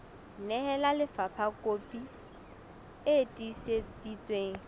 nehela lefapha kopi e tiiseditsweng